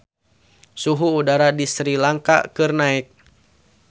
Suhu udara di Sri Lanka keur naek